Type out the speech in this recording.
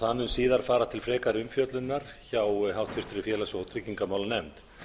það mun síðar fara til frekari umfjöllunar hjá háttvirtum félags og tryggingamálanefnd